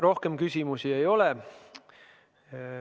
Rohkem küsimusi ei ole.